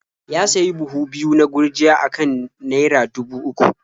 Ya sayi buhu biyu na gurjiya a kan naia dubu uku.